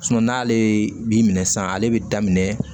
n'ale bi minɛ san ale bi daminɛ